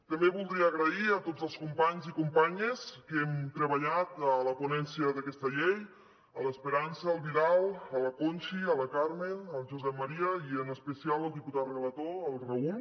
també voldria donar les gràcies a tots els companys i companyes que hem treballat a la ponència d’aquesta llei a l’esperança al vidal a la conchi a la carmen al josep maria i en especial al diputat relator el raúl